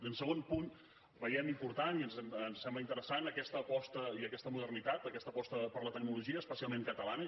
i en segon punt veiem important i ens sembla interessant aquesta aposta i aquesta modernitat aquesta aposta per la tecnologia especialment catalana